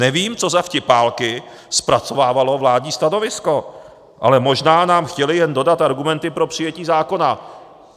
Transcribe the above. Nevím, co za vtipálky zpracovávalo vládní stanovisko, ale možná nám chtěli jen dodat argumenty pro přijetí zákona.